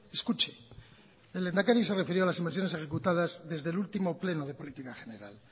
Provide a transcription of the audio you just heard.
escuche el lehendakari se refirió a las inversiones ejecutadas desde el último pleno de política general